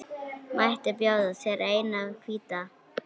Mætti bjóða þér eina hvíta.